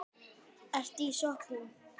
Ertu í sokkum?